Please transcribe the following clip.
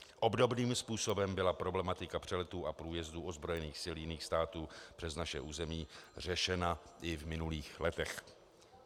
Obdobným způsobem byla problematika přeletů a průjezdů ozbrojených sil jiných států přes naše území řešena i v minulých letech.